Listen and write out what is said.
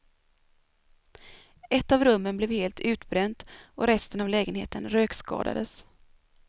Ett av rummen blev helt utbränt och resten av lägenheten rökskadades.